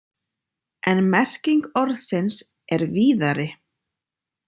En merking orðsins er víðari.